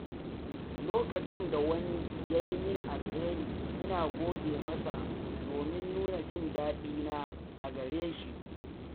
Lokacin da wani ya yi mini alheri, ina gode masa domin nuna jin daɗina a gare shi.